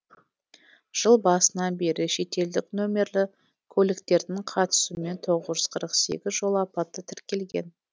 жыл басынан бері шетелдік нөмірлі көліктердің қатысуымен тоғыз жүз қырық сегіз жол апаты тіркелген